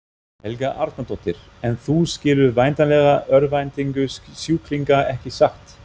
Helga Arnardóttir: En þú skilur væntanlega örvæntingu sjúklinga ekki satt?